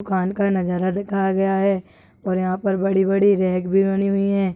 दुकान का नजारा दिखाया गया है और यहाँ पर बड़ी बड़ी रेक भी बनी हुई है।